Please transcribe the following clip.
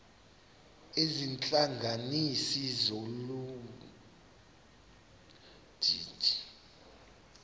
izihlanganisi zolu didi